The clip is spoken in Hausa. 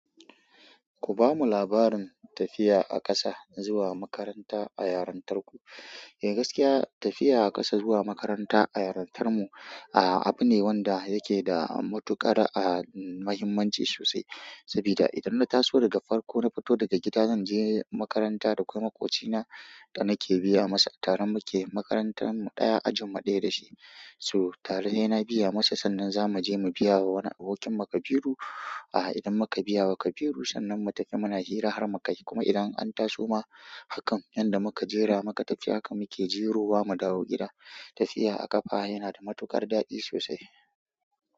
Ku bamu labarin tafiya a ƙasa zuwa makaranta a yarin tarku. Eh gaskiya tafiya a ƙasa zuwa makaranta a yarin tarmu, ah abu ne wanda yake da matuƙar a mahimmanci sosai. Sabida idan nataso daga farko nafito gida zanje makaranta dakwai maƙocina danake biya masa atare muke makaranta ajinmu ɗaya so tare saina biya masa sannan zamuje mu biya wa wani abokinmu kabiru aha idan muka biya wa Kabiru sannan mu tafi muna hira har muka yi kuma idan an taso ma hakan yanda muka jera muka tafi hakan muke jiro wa mu dawo gida. Tafiya a ƙafa yana da matuƙar daɗi sosai.